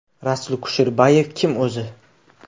Rasul Kusherbayev kim o‘zi?